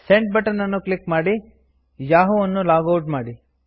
send button ಅನ್ನು click ಮಾಡಿ Yahoo ಅನ್ನು ಲಾಗ್ ಔಟ್ ಮಾಡಿ